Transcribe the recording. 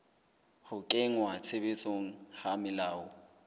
ho kenngwa tshebetsong ha melao